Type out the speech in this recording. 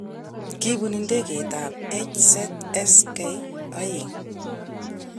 Kibun ndegeit ab HZSK2.